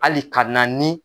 Hali ka na ni